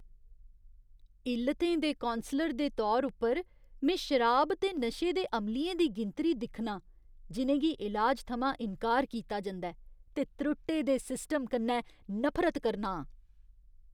इल्लतें दे कौंसलर दे तौर उप्पर में शराब ते नशे दे अमलियें दी गिनतरी दिक्खनां जिनें गी इलाज थमां इंकार कीता जंदा ऐ ते त्रुट्टे दे सिस्टम कन्नै नफरत करना आं।